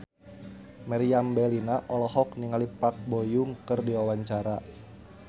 Meriam Bellina olohok ningali Park Bo Yung keur diwawancara